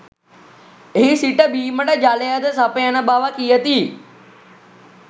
එහි සිට බීමට ජලයද සපයන බව කියති.